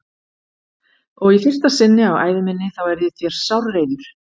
Og í fyrsta sinn á ævi minni þá er ég þér sárreiður.